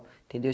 Entendeu?